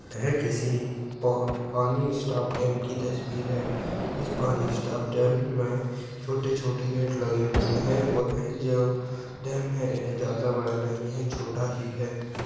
यह किसी पा पानी स्टॉप डैम की तस्वीर है इस पानी स्टॉप डैम मे छोटे छोटे गेट लगे हुए है ओैर डैम जादा बड़ा नहीं है छोटा ही है।